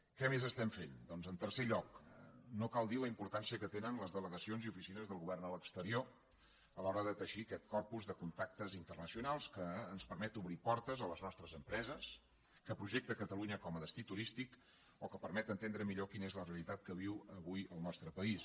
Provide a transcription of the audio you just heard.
què més estem fent doncs en tercer lloc no cal dir la importància que tenen les delegacions i oficines del govern a l’exterior a l’hora de teixir aquest corpus de contactes internacionals que ens permet obrir portes a les nostres empreses que projecta catalunya com a destí turístic o que permet entendre millor quina és la realitat que viu avui el nostre país